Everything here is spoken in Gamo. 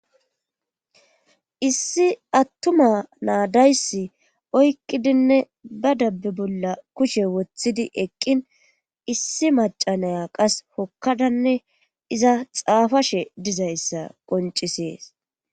Issi attuma naa dayssi oyqqidinne ba dabbe bolla kushe wothidi eqqin issi macca naya qas hokkadanne iza xaafashe dizayssa qonccisees.